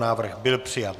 Návrh byl přijat.